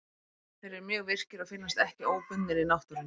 Þeir eru því mjög virkir og finnast ekki óbundnir í náttúrunni.